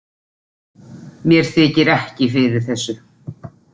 Mér þykir ekki fyrir þessu